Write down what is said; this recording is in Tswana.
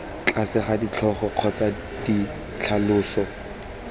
tlase ga ditlhogo kgotsa ditlhaloso